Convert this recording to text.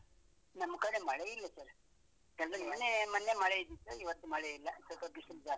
ನಮ್ಮ ಕಡೆ ಮಳೆ ಎಲ್ಲ sir ಎಲ್ಲ ಮೊನ್ನೆ ನಿನ್ನೆ ಮಳೆ ಇದ್ದಿತು, ಇವತ್ತು ಮಳೆ ಇಲ್ಲ ಸ್ವಲ್ಪ ಬಿಸಿಲು ಜಾಸ್ತಿ.